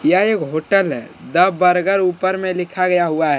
यह एक होटल है द बर्गर ऊपर मे लिखा गया हुआ है।